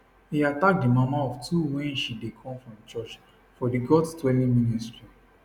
e attack di mama of two wen she dey come from church for di gods dwelling ministry